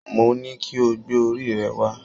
Mo ní kí o gbé orí rẹ wá